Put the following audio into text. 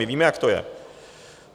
My víme, jak to je!